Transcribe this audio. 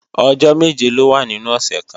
Ọjọ́ méje ló wà nínú ọ̀sẹ̀ kan